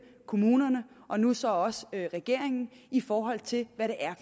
kommunerne og nu så også regeringen i forhold til hvad det er